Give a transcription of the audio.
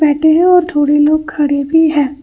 थोड़ी लोग खड़े भी है।